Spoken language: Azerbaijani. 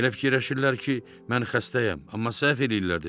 Elə fikirləşirlər ki, mən xəstəyəm, amma səhv eləyirlər dedi.